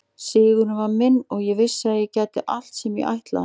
Sigurinn var minn og ég vissi að ég gæti allt sem ég ætlaði mér.